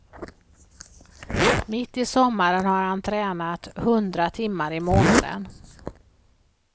Mitt i sommaren har han tränat hundra timmar i månaden.